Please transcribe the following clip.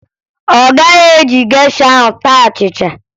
Ọ gaghị eji gesha ahụ taa achịcha